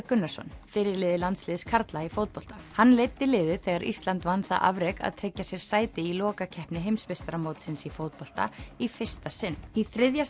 Gunnarsson fyrirliði landsliðs karla í fótbolta hann leiddi liðið þegar Ísland vann það afrek að tryggja sér sæti í lokakeppni heimsmeistaramótsins í fótbolta í fyrsta sinn í þriðja